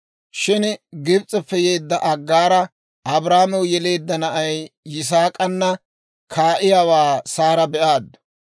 Shin Gibs'eppe yeedda Aggaara Abrahaamew yeleedda na'ay Yisaak'ana kaa'iyaawaa Saara be'aaddu.